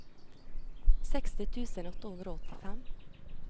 seksti tusen åtte hundre og åttifem